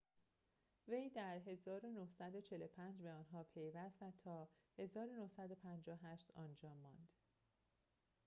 وی در ۱۹۴۵ به آن‌ها پیوست و تا ۱۹۵۸ آنجا ماند